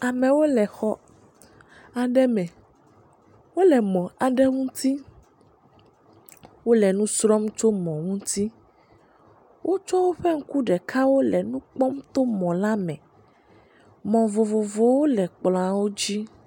Amewo le xɔ aɖe me, wole mɔ aɖe ŋuti, wole nu srɔm tso mɔ ŋuti, wo tsɔ woƒe ŋuku ɖekawo le nu kpɔm to mɔ la me, mɔ vovovowo le kplɔ̃a wo dzi.